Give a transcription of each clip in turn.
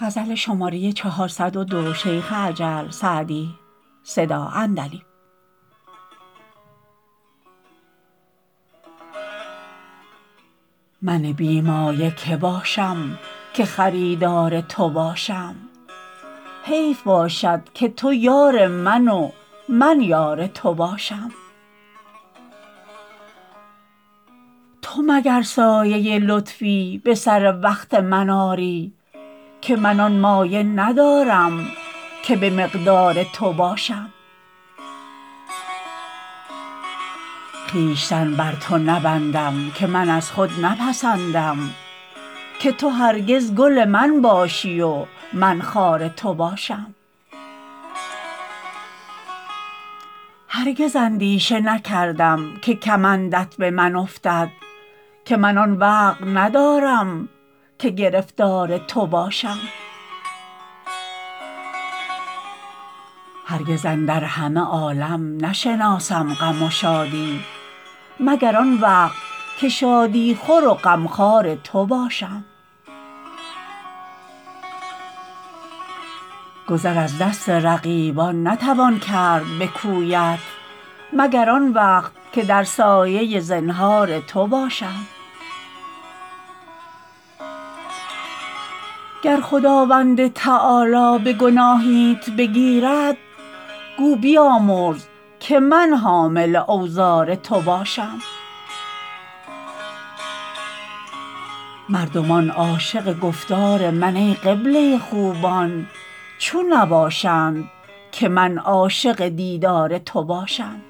من بی مایه که باشم که خریدار تو باشم حیف باشد که تو یار من و من یار تو باشم تو مگر سایه لطفی به سر وقت من آری که من آن مایه ندارم که به مقدار تو باشم خویشتن بر تو نبندم که من از خود نپسندم که تو هرگز گل من باشی و من خار تو باشم هرگز اندیشه نکردم که کمندت به من افتد که من آن وقع ندارم که گرفتار تو باشم هرگز اندر همه عالم نشناسم غم و شادی مگر آن وقت که شادی خور و غمخوار تو باشم گذر از دست رقیبان نتوان کرد به کویت مگر آن وقت که در سایه زنهار تو باشم گر خداوند تعالی به گناهیت بگیرد گو بیامرز که من حامل اوزار تو باشم مردمان عاشق گفتار من ای قبله خوبان چون نباشند که من عاشق دیدار تو باشم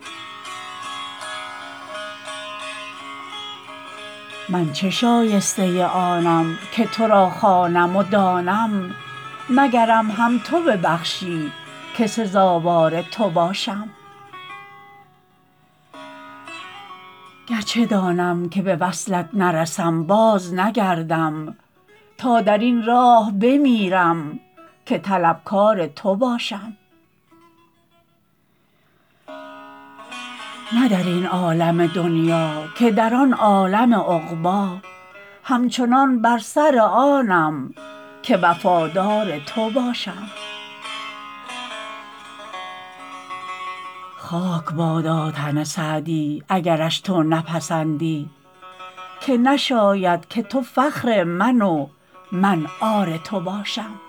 من چه شایسته آنم که تو را خوانم و دانم مگرم هم تو ببخشی که سزاوار تو باشم گرچه دانم که به وصلت نرسم بازنگردم تا در این راه بمیرم که طلبکار تو باشم نه در این عالم دنیا که در آن عالم عقبی همچنان بر سر آنم که وفادار تو باشم خاک بادا تن سعدی اگرش تو نپسندی که نشاید که تو فخر من و من عار تو باشم